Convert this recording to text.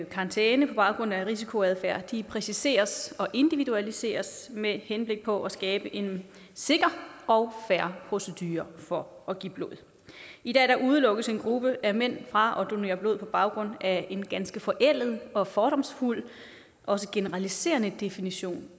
karantæne på baggrund af risikoadfærd præciseres og individualiseres med henblik på at skabe en sikker og fair procedure for at give blod i dag udelukkes en gruppe af mænd fra at donere blod på baggrund af en ganske forældet og fordomsfuld og også generaliserende definition